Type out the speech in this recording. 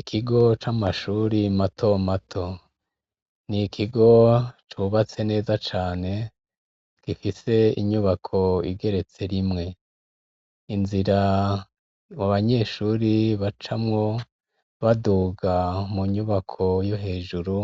Ikigo c'amashuri mato mato ni ikigo cubatse neza cane, gifise inyubako igeretse rimwe. Inzira abanyeshuri bacamwo baduga mu nyubako yo hejuru